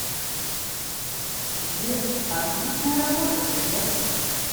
сбер отличная работа приятель